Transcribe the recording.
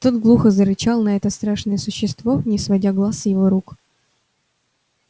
тот глухо зарычал на это страшное существо не сводя глаз с его рук